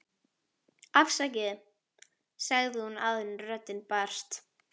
afsakið, sagði hún áður en röddin brast.